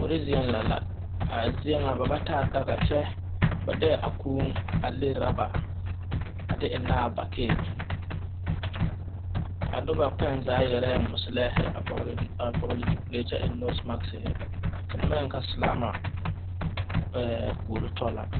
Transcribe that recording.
Kuore zie lɛ la. A zie na ba ba taa daka kyɛ, ba deɛ a kuu le roba a de eŋna a bakii. A noba kpɛng zaa yɛrɛɛ musilɛhe a vogle zupule kyɛ eŋ nosmaskhe. Te na baŋ yɛleɛ silama eɛ kuore to la